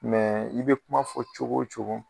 i bɛ kuma fɔ cogo o cogo.